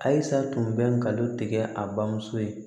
Ayi sa tun bɛ ngalon tigɛ a bamuso ye